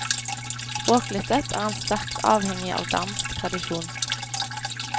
Språklig sett er han sterkt avhengig av dansk tradisjon.